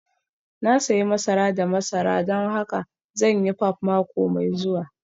Na sayi masara da masara don haka zan yi pap mako mai zuwa